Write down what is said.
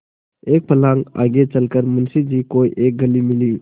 एक फर्लांग आगे चल कर मुंशी जी को एक गली मिली